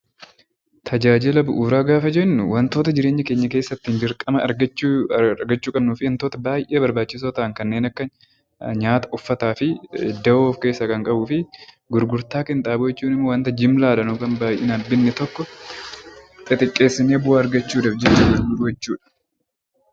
Tajaajila bu'uuraa gaafa jennu wantoota bu'uuraa jireenya keenya keessatti dirqamaan argachuu qabnuu fi wantoota baay'ee barbaachisoo ta'an kanneen akka nyaata, uffataa fi dahoo of keessaa kan qabuu fi gurgurtaa qinxaaboo jechuun immoo wanta jimlaadhaan yookaan baay'inaan bitne tokko xixiqqeessinee bu'aa argachuudhaaf gurgurachuudha.